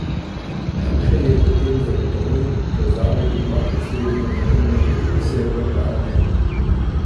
Šušelj je pri tem zagotovil, da zavod ima ustrezne notranje predpise v ta namen.